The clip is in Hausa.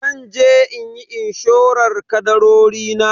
Zanje inyi inshorar kadarori na.